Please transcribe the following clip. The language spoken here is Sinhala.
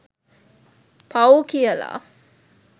පව් කියලා